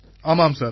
ஆமாம் சார்